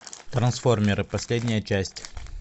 трансформеры последняя часть